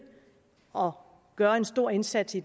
og gøre en stor indsats i